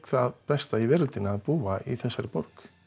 það besta í veröldinni að búa í þessari borg